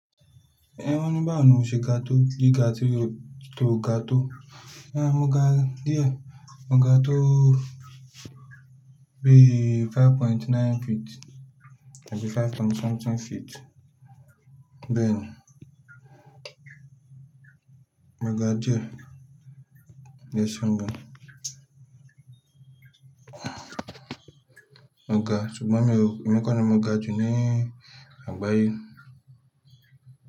Ẹ wa ní báwo ni mo ṣe ga tó gíga tí o to ga tó? Ẹ̀, mo ga díẹ̀. Mo ga tó bí i five point nine feet. Àbí five point something feet. Bẹ́ẹ̀ ni. Mo ga díẹ̀. Yes o gbọ́n. Mo ga ṣùgbọ́n mi ò, èmi kọ̀ ni mo ga jù ní àgbáyé.